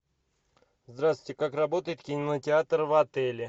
здравствуйте как работает кинотеатр в отеле